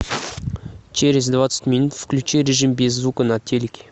через двадцать минут включи режим без звука на телике